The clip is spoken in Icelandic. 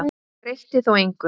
Hann breytti þó engu.